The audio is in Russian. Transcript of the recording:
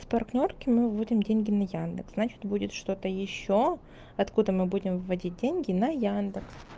с партнёрки мы выводим деньги на яндекс значит будет что-то ещё откуда мы будем вводить деньги на яндекс